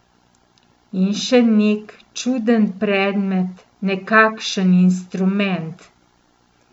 In še nek čuden predmet, nekakšen instrument.